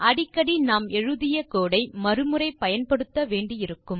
அடிக்கடி நாம் எழுதிய கோடு ஐ மறு முறை பயன்படுத்த வேண்டியிருக்கும்